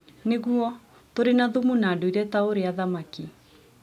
Nĩguo, tũrĩ na thumu na ndũire ta ũrĩa thamaki